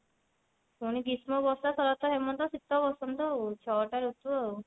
ପୁଣି ଗ୍ରୀଷ୍ମ ବର୍ଷା ଶରତ ହେମନ୍ତ ଶିତ ବସନ୍ତ ଆଉ ଛଅ ଟା ଋତୁ ଆଉ